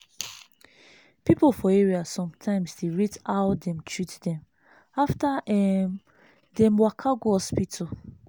people for area sometimes dey rate how dem treat dem after um dem waka go hospital.